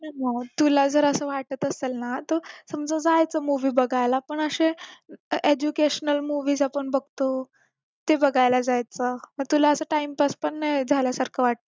तुला जर असं वाटत असेल ना तर समजा जायचं movie बघायला पण असे educationalmovies आपण बघतो ते बघायला जायचं तर तुला time pass पण झाल्यासारखं